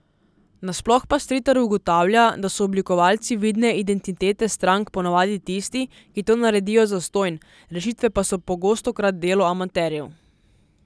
Nasploh pa Stritar ugotavlja, da so oblikovalci vidne identitete strank ponavadi tisti, ki to naredijo zastonj, rešitve pa so pogostokrat delo amaterjev.